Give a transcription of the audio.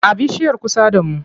A bishiyar kusa da mu.